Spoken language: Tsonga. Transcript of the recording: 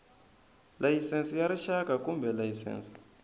layisense ya rixaka kumbe layisense